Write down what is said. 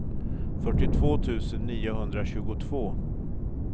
fyrtiotvå tusen niohundratjugotvå